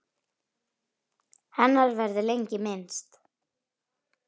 Hennar verður lengi minnst.